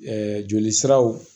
joli siraw